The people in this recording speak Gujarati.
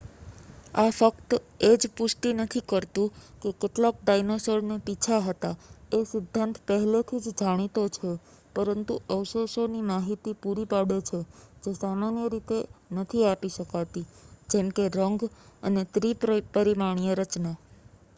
આ ફક્ત એજ પુષ્ટિ નથી કરતું કે કેટલાક ડાઈનાસોર ને પીછા હતા એ સિદ્ધાંત પહેલેથી જ જાણીતો છે પરંતુ અવશેષો ની માહિતી પૂરી પાડે છે જે સામાન્ય રીતે નથી આપી શકાતી જેમકે રંગ અને ત્રી-પરિમાણીય રચના